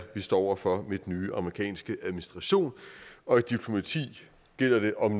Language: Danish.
står over for med den nye amerikanske administration og i diplomati gælder det om